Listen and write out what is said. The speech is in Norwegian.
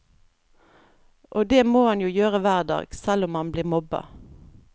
Og det må han jo gjøre hver dag, selv om han blir mobba.